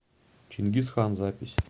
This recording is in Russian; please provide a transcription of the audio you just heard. чингиз хан запись